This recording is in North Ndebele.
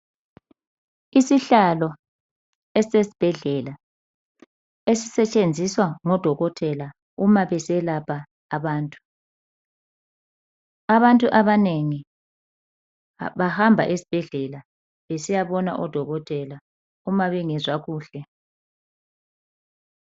Isihlalo esesbhedlela esisetshenziswa ngodokotela uma beselapha abantu , abantu abanengi bahamba esibhedlela besiyabona odokotela uma bengezwa kuhle